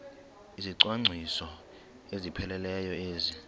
izicwangciso ezipheleleyo ezi